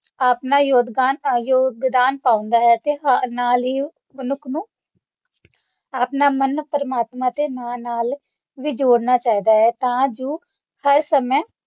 ਆਪਣਾ ਯੋਗਦਾਨ ਅ ਯੋਗਦਾਨ ਪਾਉਂਦਾ ਹੈ ਅਤੇ ਨਾਲ ਹੀ ਮਨੁੱਖ ਨੂੰ ਆਪਣਾ ਮਨ ਪ੍ਰਮਾਤਮਾ ਦੇ ਨਾਲ ਨਾਲ ਵੀ ਜੋੜਨਾ ਚਾਹੀਦਾ ਹੈ ਤਾਂ ਜੋ ਹਰ ਸਮੇਂ